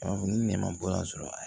Ni ne ma bɔ a sɔrɔ a